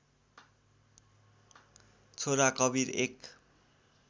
छोरा कवीर एक